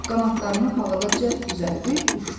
Qanadlarını havada cəld düzəldib uçdu.